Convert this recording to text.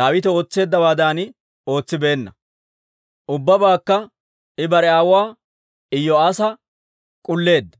Daawite ootseeddawaadan ootsibeenna. Ubbabaakka I bare aawuwaa Iyo'aassa k'ulleedda.